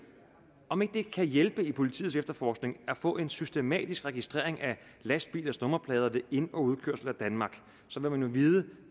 om ikke det kan hjælpe i politiets efterforskning at få en systematisk registrering af lastbilers nummerplader ved ind og udkørsel af danmark så vil man jo vide